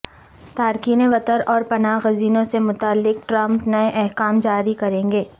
تارکین وطن اور پناہ گزینوں سے متعلق ٹرمپ نئے احکام جاری کریں گے